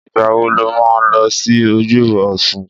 Ìgbà wo lo ma lọ sí ojúbọ Ọsun?